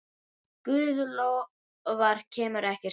Guð lofar kemur ekkert stríð.